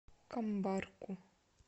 камбарку